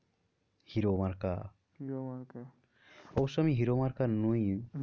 hero মার্কা, hero মার্কা অবশ্য আমি হিরো মার্কা নই